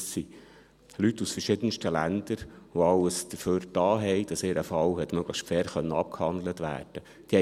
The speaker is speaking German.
Das sind Leute aus verschiedensten Ländern, die alles dafür getan haben, damit ihr Fall möglichst fair abgehandelt werden konnte.